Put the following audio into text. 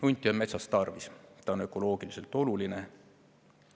Hunti on metsas tarvis, ta on ökoloogiliselt oluline.